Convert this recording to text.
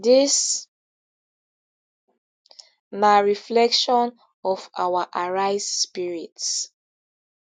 dis na reflection of our arise spirit